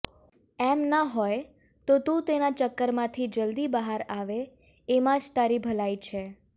એમ ન હોય તો તું તેના ચક્કરમાંથી જલદી બહાર આવે એમાં જ તારી ભલાઈ છે